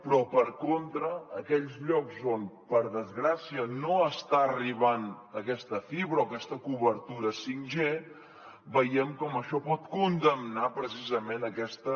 però per contra aquells llocs on per desgràcia no està arribant aquesta fibra o aquesta cobertura 5g veiem com això pot condemnar precisament aquesta